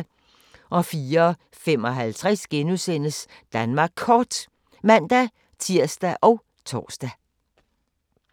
04:55: Danmark Kort *(man-tir og tor)